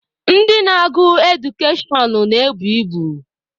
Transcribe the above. Ndị na-agụ Edukashọn na-ebu ibu.